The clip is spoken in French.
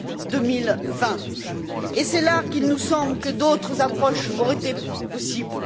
2020. Et c'est là qu'il nous semble que d'autres approches auraient été possibles.